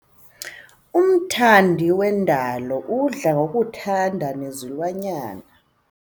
Umthandi wendalo udla ngokuthanda nezilwanyana.